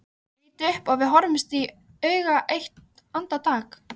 Ég lít upp og við horfumst í augu eitt andartak.